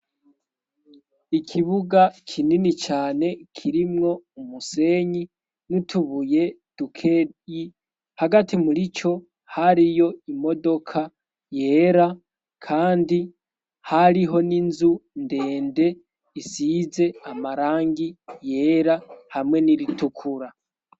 Ikibuga kinini cane kirimwo umusenyi nutubuye dukeyi hagati muri co hariyo imodoka yera, kandi hariho n'inzu ndende isize amarangi yera hamwe n'iritukura.